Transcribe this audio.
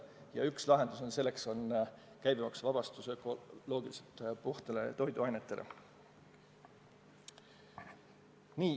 Ja üks lahendus on käibemaksuvabastus ökoloogiliselt puhastele toiduainetele.